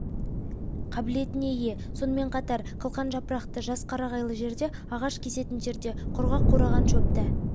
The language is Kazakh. қабілетіне ие сонымен қатар қылқан жапырақты жас қарағайлы жерде ағаш кесетін жерде құрғақ қураған шөпті